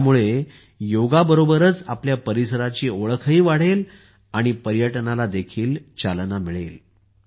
यामुळे योगाबरोबरच आपल्या परिसराची ओळखही वाढेल आणि पर्यटनालाही चालना मिळेल